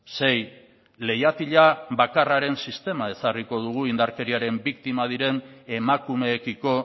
sei leihatila bakarraren sistema ezarriko dugu indarkeriaren biktima diren emakumeekiko